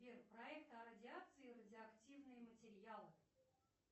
сбер проект о радиации радиоактивные материалы